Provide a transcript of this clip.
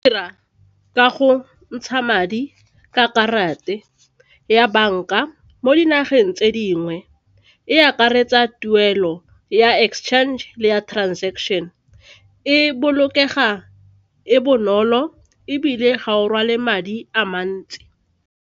Dira ka go ntsha madi ka ya banka mo dinageng tse dingwe, e akaretsa tuelo ya exchange le ya transaction e bolokega e bonolo ebile ga o rwale madi a mantsi.